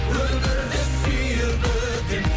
өмірді сүйіп өтем